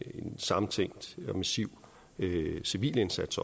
sammentænkt og massiv civil indsats